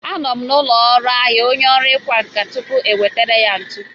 A nọ m n'ụlọ ahịa onye ọrụ ịkwa nkà tupuu e butere ya ntu.